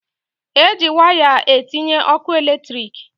E ji waya etinye ọkụ eletriki.